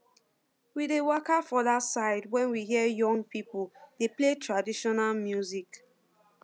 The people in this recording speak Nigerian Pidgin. we dey waka for that side when we hear young people dey play traditional music